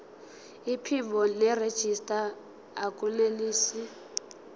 iphimbo nerejista akunelisi